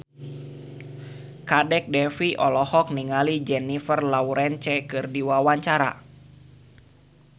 Kadek Devi olohok ningali Jennifer Lawrence keur diwawancara